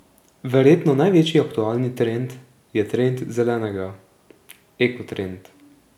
Verjetno največji aktualni trend je trend zelenega, eko trend.